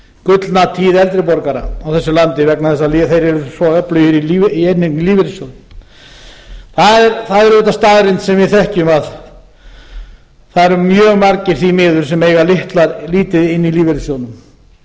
gullna tíð eldri borgara í þessu landi vegna þess að þeir eru svo öflugir í inneign í lífeyrissjóði það er auðvitað staðreynd sem við þekkjum að það eru mjög margir því miður sem eiga lítið inni í lífeyrissjóðnum